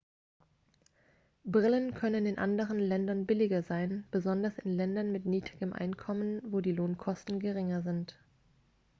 brillen können in anderen ländern billiger sein besonders in ländern mit niedrigem einkommen wo die lohnkosten geringer sind